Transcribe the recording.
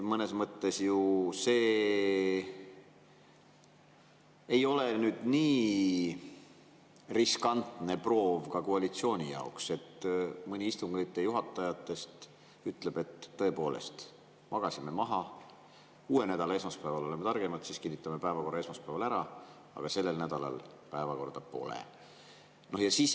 Mõnes mõttes ei oleks see nii riskantne proov ka koalitsiooni jaoks, kui mõni istungi juhatajatest ütleb, et tõepoolest, magasime maha, uue nädala esmaspäeval oleme targemad, siis kinnitame päevakorra esmaspäeval ära, aga sellel nädalal päevakorda pole.